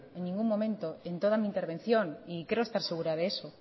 en ningún momento en toda mi intervención y creo estar segura de eso